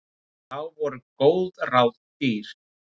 Og þá voru góð ráð dýr.